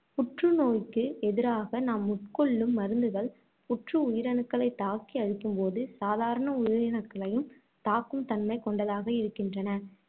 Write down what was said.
புற்று நோய்க்கு எதிராக நாம் உட்கொள்ளும் மருந்துகள் புற்று உயிரணுக்களைத் தாக்கி அழிக்கும்போது, சாதாரண உயிரணுக்களையும் தாக்கும் தன்மை கொண்டதாக இருக்கின்றன.